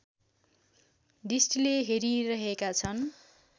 दृष्टिले हेरिरहेका छन्